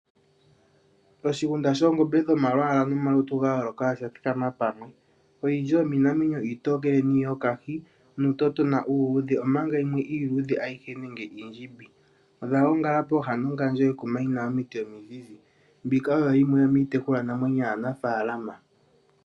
Oshigunda shoongombe dhomalwaala nomalutu ga yooloka odha thikama pamwe. Oyindji yomiinamwenyo iitookele niiyokahi nuutotona uuludhe, omanga yimwe iiluudhe ayihe nenge iindjimbi. Odha gongala pooha nongandjo yekuma li na omiti mizizi. Mbika oyo yimwe miitekulwanamwenyo yaanafaalama.